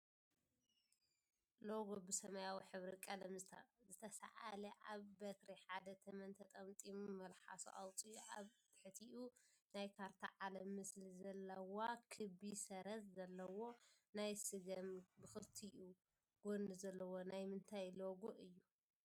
ሎጎ ብሰማያዊ ሕብሪ ቀለም ዝተሳኣለ ኣብ በትሪ ሓደ ተመን ተጠምጢሙ መልሓሱ ኣውፂኡ ኣብ ትሕቲኡ ናይ ካርታ ዓለም ምስሊ ዘለዋ ክቢ ሰረዝ ዘለዎ ናይ ስገም ብክልቲኡ ጎኒ ዘለዎ ናይ ምንታይ ሎጎ እዩ ?